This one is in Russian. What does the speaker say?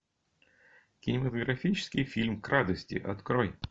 кинематографический фильм к радости открой